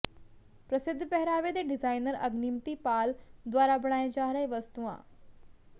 ਪ੍ਰਸਿੱਧ ਪਹਿਰਾਵੇ ਦੇ ਡਿਜ਼ਾਈਨਰ ਅਗਨੀਮਤੀ ਪਾਲ ਦੁਆਰਾ ਬਣਾਏ ਜਾ ਰਹੇ ਵਸਤੂਆਂ